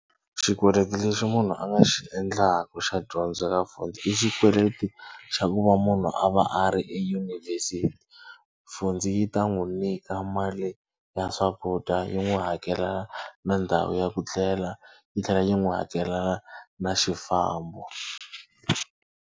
Xikweleti lexi munhu a nga xi endlaka xa dyondzo ka Fundi i xikweleti xa ku va munhu a va a ri eyunivhesiti. Fundi yi ta n'wi nyika mali ya swakudya yi n'wi hakela na ndhawu ya ku tlela yi tlhela yi n'wi hakela na xifambo.